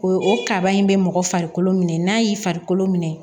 O ye o kaba in bɛ mɔgɔ farikolo minɛ n'a y'i farikolo minɛ